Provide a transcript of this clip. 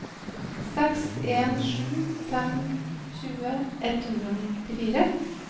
seks en sju fem tjue ett hundre og nittifire